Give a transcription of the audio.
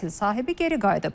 Əsl sahibi geri qayıdıb.